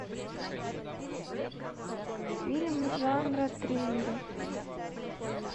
фильм жанра триллеры